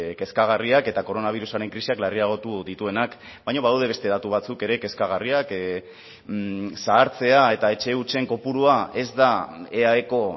kezkagarriak eta koronabirusaren krisiak larriagotu dituenak baina badaude beste datu batzuk ere kezkagarriak zahartzea eta etxe hutsen kopurua ez da eaeko